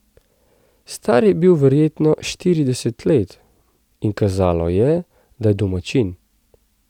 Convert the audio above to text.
Star je bil verjetno štirideset let in kazalo je, da je domačin.